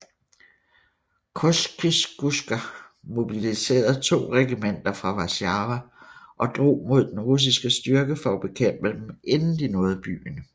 Kościuszko mobiliserede to regimenter fra Warszawa og drog mod den russiske styrke for at bekæmpe dem inden de nåede byen